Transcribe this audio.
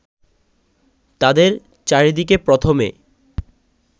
তাদের চারিদিকে প্রথমে